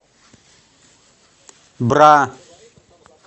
бра